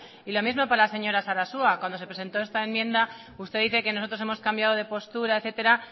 y lo mismo para la señora sarasua cuando se presentó esta enmienda usted dice que nosotros hemos cambiado de postura etcétera